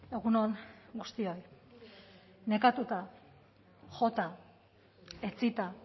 egun on guztioi nekatuta jota etsita